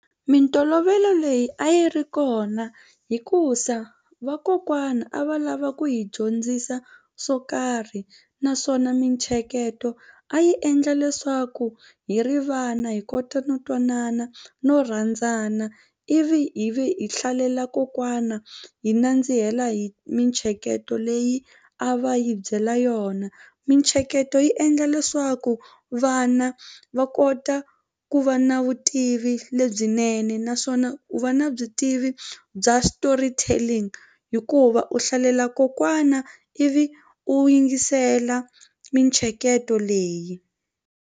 Mintolovelo leyi a yi ri kona hikuza vakokwana a va lava ku hi dyondzisa swo karhi naswona mintsheketo a yi endla leswaku hi ri vana hi kota no twanana no rhandzana ivi hi vi hi hlalela kokwana hi nandzihela hi mintsheketo leyi a va hi byela yona mintsheketo yi endla leswaku vana va kota ku va na vutivi lebyinene naswona u va na byi tivi bya storytelling hikuva u hlalela kokwana ivi u yingisela mintsheketo leyi.